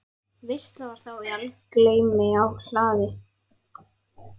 Veisla var þá í algleymi á hlaði.